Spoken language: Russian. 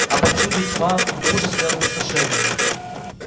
а повсюду тьма ужас и опустошение